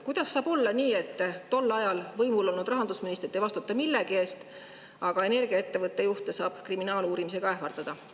Kuidas saab olla nii, et tol ajal võimul olnud rahandusministrid ei vastuta millegi eest, aga energiaettevõtte juhte saab kriminaaluurimisega ähvardada?